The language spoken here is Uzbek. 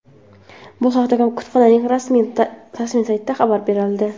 Bu haqda kutubxonaning rasmiy saytida xabar berildi .